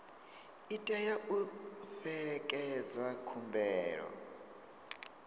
i tea u fhelekedza khumbelo